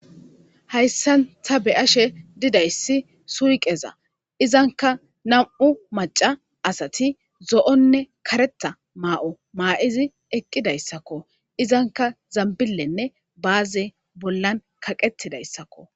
hayssan ta be'ashe didayssi suyqeza izanka nam'u maca asati zo'onne kareta maa'o maa'izi eqqidayssakko izanka zambillenne baaze bollan kaqettidayssakko